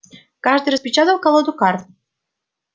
каждый распечатал колоду карт